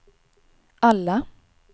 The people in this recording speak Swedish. alla